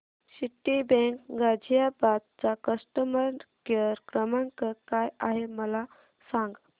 Citibank Ghaziabad चा customer care क्रमांक काय आहे मला सांग